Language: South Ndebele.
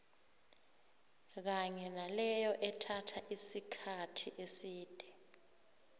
kanye naleyo ethatha isikkathi eside